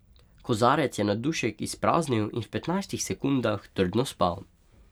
Kozarec je na dušek izpraznil in v petnajstih sekundah trdno spal.